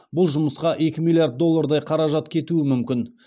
бұл жұмысқа екі миллиард доллардай қаражат кетуі мүмкін